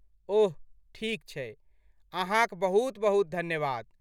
ओह, ठीक छै। अहाँक बहुत बहुत धन्यवाद।